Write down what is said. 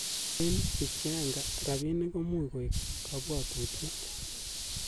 En Bichianga, Rabinik komuch koik kobwotutiet.